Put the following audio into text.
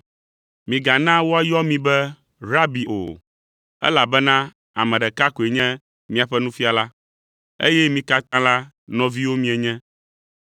“Migana woayɔ mi be ‘Rabi’ o, elabena ame ɖeka koe nye miaƒe Nufiala, eye mi katã la nɔviwo mienye.